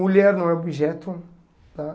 Mulher não é objeto, tá?